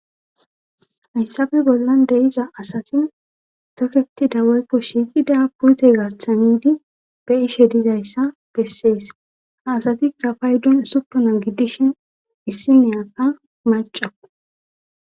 Hayssabe bollan deiza asatin toketida woykko shiiqida puyte gaththanidi be ishe dizayssa gessees haasatikka paydun supona giddishin issi niyakka macao.